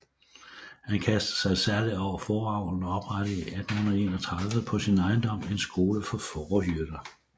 Han kastede sig særlig over fåreavlen og oprettede 1831 på sin ejendom en skole for fårehyrder